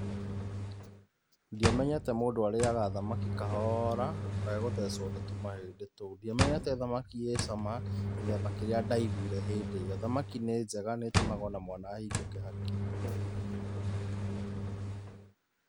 Ndiamenyete mũndũ arĩaga thamaki kahora, ndũkae gũthecwo nĩ tũmahĩndĩ tou, ndiamenyete thamaki ĩ cama gĩthemba kĩrĩa ndaigũire hĩndĩ ĩyo, thamaki nĩ njega nĩ ĩtũmaga o na mwana ahingũke hakiri.